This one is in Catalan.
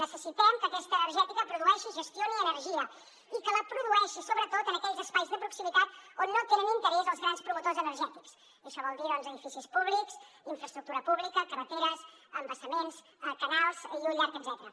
necessitem que aquesta energètica produeixi i gestioni energia i que la produeixi sobretot en aquells espais de proximitat on no tenen interès els grans promotors energètics i això vol dir edificis públics infraestructura pública carreteres embassaments canals i un llarg etcètera